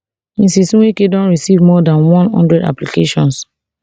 mrs nweke don receive more dan one hundred applications